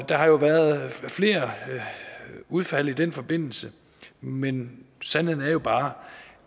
der har jo været flere udfald i den forbindelse men sandheden er jo bare